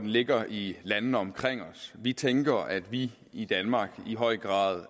ligger i landene omkring os vi tænker at vi i danmark i høj grad